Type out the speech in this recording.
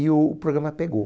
E o programa pegou.